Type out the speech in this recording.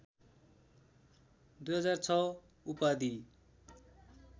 २००६ उपाधि